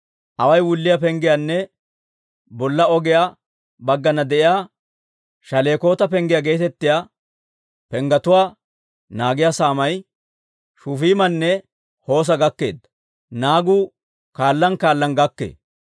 Awaay wulliyaa Penggiyaanne bolla ogiyaa baggana de'iyaa Shalekoota Penggiyaa geetettiyaa penggetuwaa naagiyaa saamay Shufiimanne Hoosa gakkeedda. Naagu kaallan kaallan gakkee.